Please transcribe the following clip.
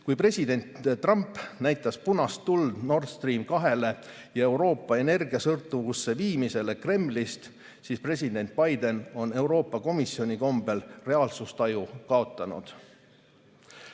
Kui president Trump näitas punast tuld Nord Stream 2‑le ja Euroopa Kremlist energiasõltuvusse viimisele, siis president Biden on Euroopa Komisjoni kombel reaalsustaju kaotanud.